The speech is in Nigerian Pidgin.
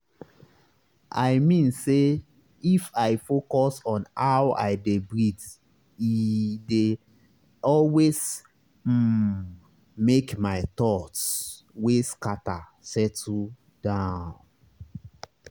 i mean say if i focus on how i dey breathee dey always um make my thoughts wey scatter settle down.